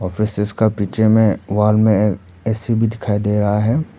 पीछे में वॉल में ए_सी भी दिखाई दे रहा है।